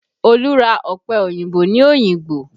Olu ra ọpẹ òyìnbó ní Oyingbo